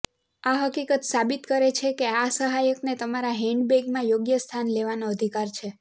આ હકીકત સાબિત કરે છે કે આ સહાયકને તમારા હેન્ડબેગમાં યોગ્ય સ્થાન લેવાનો અધિકાર છે